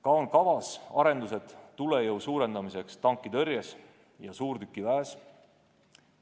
Samuti on plaanis arendused tulejõu suurendamiseks tankitõrjes ja suurtükiväes.